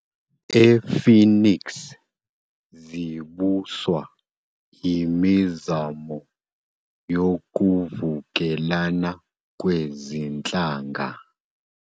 .e-Phoenix zibuswa imizamo yokuvukelana kwezinhlanga.